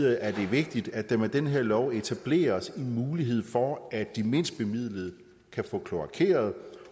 er det vigtigt at der med den her lov etableres en mulighed for at de mindst bemidlede kan få kloakeret